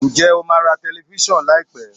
Ǹjẹ́ o máa ra telifíṣàn láì pé?